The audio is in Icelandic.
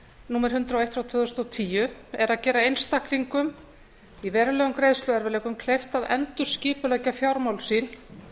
númer hundrað og eitt tvö þúsund og tíu er að gera einstaklingum í verulegum greiðsluerfiðleikum kleift að endurskipuleggja fjármál sín